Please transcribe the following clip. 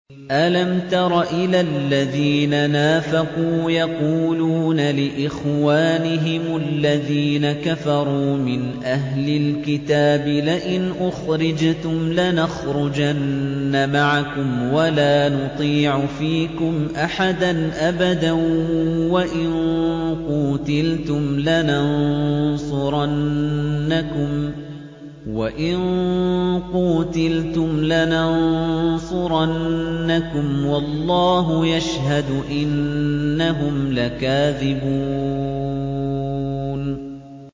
۞ أَلَمْ تَرَ إِلَى الَّذِينَ نَافَقُوا يَقُولُونَ لِإِخْوَانِهِمُ الَّذِينَ كَفَرُوا مِنْ أَهْلِ الْكِتَابِ لَئِنْ أُخْرِجْتُمْ لَنَخْرُجَنَّ مَعَكُمْ وَلَا نُطِيعُ فِيكُمْ أَحَدًا أَبَدًا وَإِن قُوتِلْتُمْ لَنَنصُرَنَّكُمْ وَاللَّهُ يَشْهَدُ إِنَّهُمْ لَكَاذِبُونَ